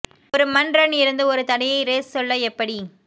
ஒரு மண் ரன் இருந்து ஒரு தடையை ரேஸ் சொல்ல எப்படி